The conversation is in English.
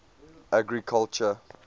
agriculture